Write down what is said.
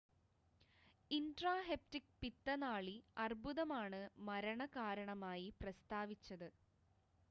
intrahepatic പിത്തനാളി അർബുദമാണ് മരണ കാരണമായി പ്രസ്താവിച്ചത്